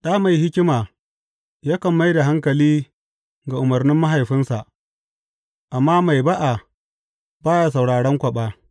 Ɗa mai hikima yakan mai da hankali ga umarnin mahaifinsa, amma mai ba’a ba ya sauraran kwaɓi.